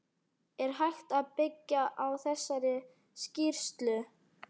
Er hægt að byggja á þessari skýrslu?